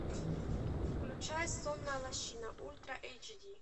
включай сонная лощина ультра эйч ди